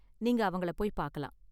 நீங்க அவங்கள போய் பாக்கலாம்.